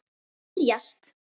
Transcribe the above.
Ég mun berjast